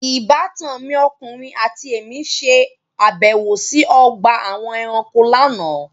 Ìbátan mi ọkùnrin àti èmí ṣe àbẹ̀wò sí ọgbà àwọn ẹranko lánàá.